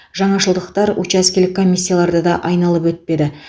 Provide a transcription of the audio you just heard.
жаңашылдықтар учаскелік комиссияларды да айналып өтпеді